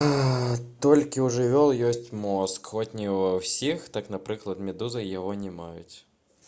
толькі ў жывёл ёсць мозг хоць і не ва ўсіх; так напрыклад медузы яго не маюць